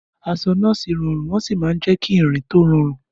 Aṣọ nọ́ọ̀sì rọrùn wọ́n sì máa ń jẹ́ kí ìrìn tó rọrùn.